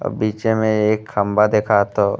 और बीचे में एक खम्बा दिखा थो।